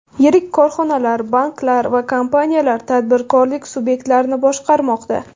Yirik korxonalar, banklar va kompaniyalar, tadbirkorlik subyektlarini boshqarmoqda.